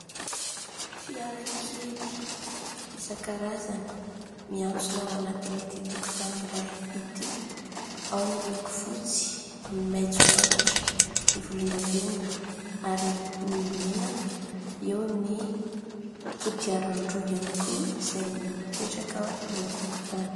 Fiara kely isan-karazany miantsona ao anatin'ity tokontany iray ity. Ao an'ny loko fotsy, maitso antitra ny volondavenona ary ny mena. Eo ny kodiaran-droa ihany koa izay mipetraka eo an-tokotany. .